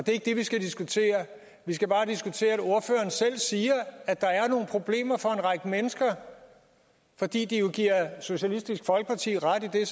er ikke det vi skal diskutere vi skal bare diskutere at ordføreren selv siger at der er nogle problemer for en række mennesker fordi de jo giver socialistisk folkeparti ret i det